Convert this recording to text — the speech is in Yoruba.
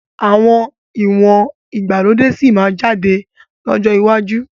Àwọn ìwọ̀n ìgbàlódé sì máa jáde lọ́jọ́ iwájú